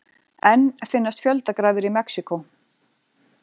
Enn finnast fjöldagrafir í Mexíkó